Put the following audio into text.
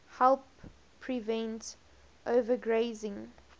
help prevent overgrazing